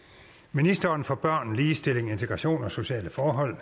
ministeren for børn ligestilling integration og sociale forhold